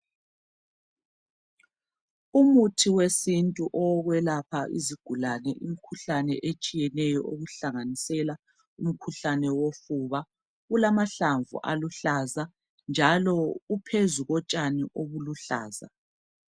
Umithi wesintu owokuyelapha izigulani umkhuhlane otshiyeneyo okuhlanganisela umkhuhlane wofuba ukamahlamvu aluhlaza njalo uphezu kotshani obuluhlaza